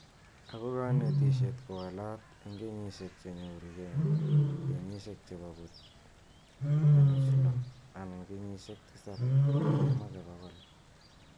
Ako kaniteshet kowalat eng kenyishek che choru keeng kenyishek chebo put kenuch loo ana kenyishek tisab kemake pokol.